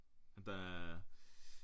Der er